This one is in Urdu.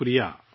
شکریہ